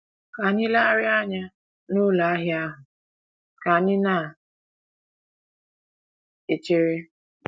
Ka anyị legharịa anya n’ụlọ ahịa ahụ ka anyị na - echere.